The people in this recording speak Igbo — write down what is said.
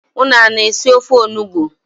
Unu ana-esi ofe onugbui?